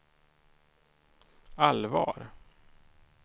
allvar